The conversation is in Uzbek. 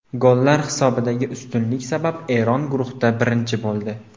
Gollar hisobidagi ustunlik sabab Eron guruhda birinchi bo‘ldi.